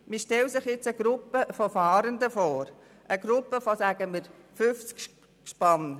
» Man stelle sich eine Gruppe von Fahrenden vor, eine Gruppe von, sagen wir, etwa 50 Gespannen.